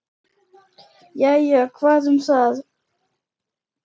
Jæja, hvað um það.